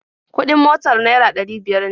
Kuɗin motar naira ɗari biyar ne